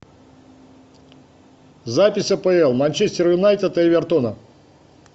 запись апл манчестер юнайтед и эвертона